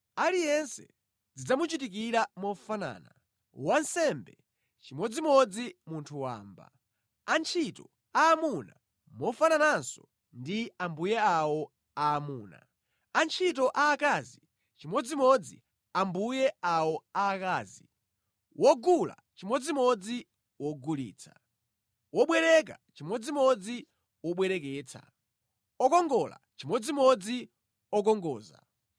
Aliyense zidzamuchitikira mofanana: wansembe chimodzimodzi munthu wamba, antchito aamuna mofanananso ndi ambuye awo aamuna, antchito aakazi chimodzimodzi ambuye awo aakazi, wogula chimodzimodzi wogulitsa, wobwereka chimodzimodzi wobwereketsa, okongola chimodzimodzi okongoza.